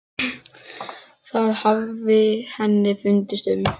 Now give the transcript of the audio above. Það hafi henni fundist um